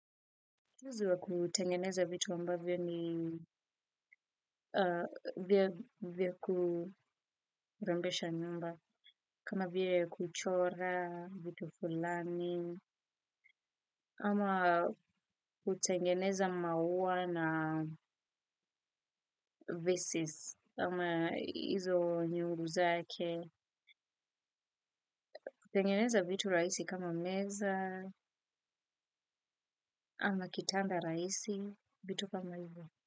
Ujuzi wa kutengeneza vitu ambavyo ni vya kurembesha nyumba kama vya kuchora vitu fulani ama kutengeneza mauwa na vesis ama hizo nyuru zake kutengeneza vitu rahisi kama meza ama kitanda rahisi vitu kama hivyo.